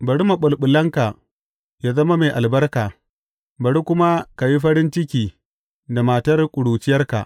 Bari maɓulɓulanka ya zama mai albarka, bari kuma ka yi farin ciki da matar ƙuruciyarka.